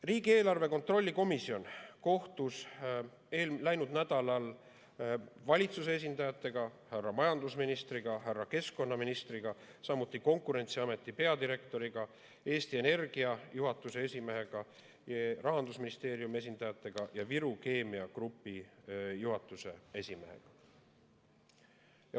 Riigieelarve kontrolli erikomisjon kohtus läinud nädalal valitsuse esindajate härra majandusministri ja härra keskkonnaministriga, samuti Konkurentsiameti peadirektoriga, Eesti Energia juhatuse esimehega, Rahandusministeeriumi esindajatega ja Viru Keemia Grupi juhatuse esimehega.